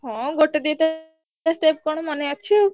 ହଁ ଗୋଟେ ଦିଟା step କଣ ମନେ ଅଛି ଆଉ।